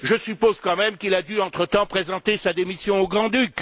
Je suppose quand même qu'il a dû entre temps présenter sa démission au Grand Duc.